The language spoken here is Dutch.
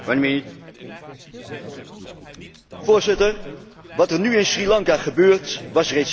Voorzitter, wat er nu in Sri Lanka gebeurt, was reeds enkele jaren volkomen voorspelbaar.